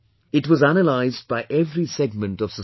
It was analyzed by every segment of society